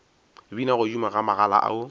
bina godimo ga magala ao